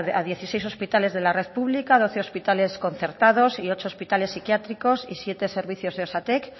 a dieciséis hospitales de la red pública doce hospitales concertados y ocho hospitales psiquiátricos y siete servicios de osatek